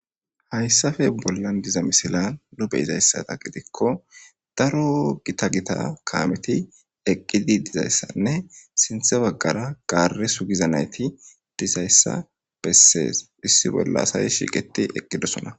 hayssafe bollan diza misila lube izayssata gidikko daro gita gita kaameti eqqidi dizayssanne sinthe baggara gaare sugiza nayti dizayssa bessees issi bolla asayi shiqeti eqqidosona